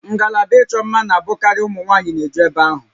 Ngalaba ịchọ mma na-abụkarị ụmụ nwaanyị n'eju eve ahụ